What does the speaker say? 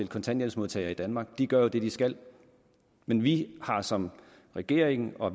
kontanthjælpsmodtagere i danmark for de gør jo det de skal men vi har som regering og